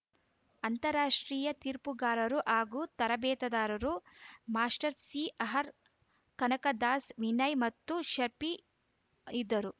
ಅಂತಾರಾಷ್ಟ್ರೀಯ ತೀರ್ಪುಗಾರರು ಹಾಗೂ ತರಬೇತುದಾರ ಮಾಸ್ಟರ್‌ ಸಿಆರ್‌ ಕನಕದಾಸ್‌ ವಿನಯ್‌ ಮತ್ತು ಶಫಿ ಇದ್ದರು